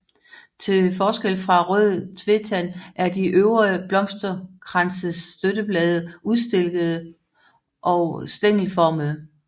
Til forskel fra rød tvetand er de øvre blomsterkranses støtteblade ustilkede og stængelomfattende